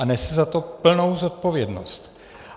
A nese za to plnou zodpovědnost.